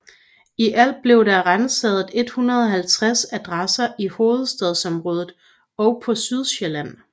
I alt blev der ransaget 150 adresser i hovedstadsområdet og på Sydsjælland